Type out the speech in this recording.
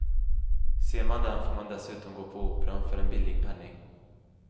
Ser man den får man dessutom gå på operan för en billig penning.